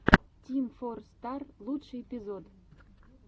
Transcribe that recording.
тим фор стар лучший эпизод